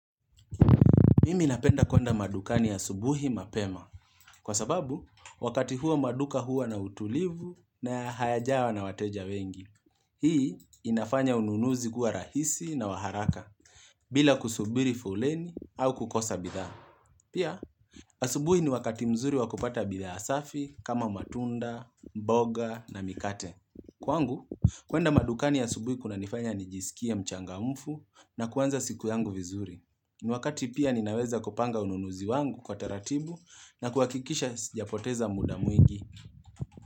Mimi napenda kwenda madukani asubuhi mapema. Kwa sababu, wakati huo maduka huwa na utulivu na hayajawa na wateja wengi. Hii inafanya ununuzi kuwa rahisi na wa haraka, bila kusubiri foleni au kukosa bidhaa. Pia, asubuhi ni wakati mzuri wakopata bidhaa safi kama matunda, mboga na mikate. Kwangu, kwenda madukani ya asubuhi kunanifanya nijisikia mchangamfu na kuanza siku yangu vizuri. Ni wakati pia ninaweza kupanga ununuzi wangu kwa taratibu na kuhakikisha sijapoteza muda mwingi.